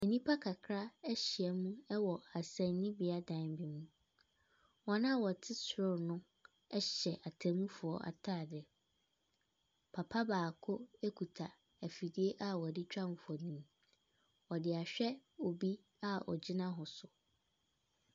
Nnipa kakra ahyiam wɔ asɛnnibeaadan mu. Wɔn a wɔte soro hɔ no, hyɛ atemmufoɔ ataareɛ. Papa baako ekuta afidie a wɔde twa mfoni. Ɔde ahwɛ obi a ogyina hɔ so.